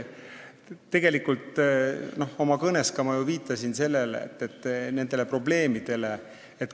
Tegelikult ma ka ju oma kõnes viitasin nendele probleemidele.